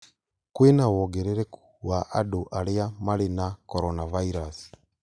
Kwĩna wongerereku wa andũ arĩa marĩ na coronavirus